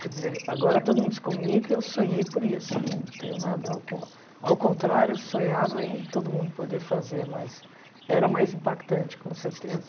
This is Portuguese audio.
Quer dizer, agora todo mundo se comunica e eu sonhei por isso, não tenho nada con... Ao contrário, eu sonhava em todo mundo poder fazer, mas era mais impactante, com certeza.